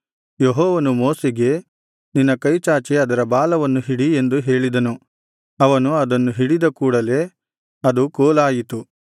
ಯೆಹೋವನು ಮೋಶೆಗೆ ನಿನ್ನ ಕೈಚಾಚಿ ಅದರ ಬಾಲವನ್ನು ಹಿಡಿ ಎಂದು ಹೇಳಿದನು ಅವನು ಅದನ್ನು ಹಿಡಿದ ಕೂಡಲೇ ಅದು ಕೋಲಾಯಿತು